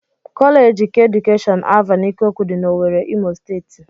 Kọleeji keedukeshọn Alvan Ikokwu dị n'Owere, Imo steeti